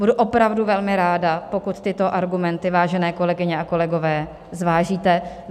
Budu opravdu velmi ráda, pokud tyto argumenty, vážené kolegyně a kolegové, zvážíte.